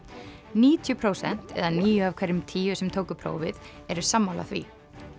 níutíu prósent eða níu af hverjum tíu sem tóku prófið eru sammála því